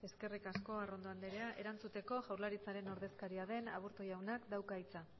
eskerrik asko arrondo anderea erantzuteko jaurlaritzaren ordezkaria den aburto jaunak dauka hitza